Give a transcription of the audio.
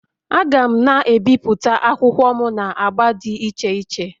Aga'm na-ebipụta akwụkwọ m na agba dị iche iche